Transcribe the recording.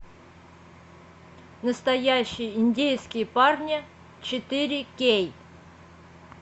настоящие индейские парни четыре кей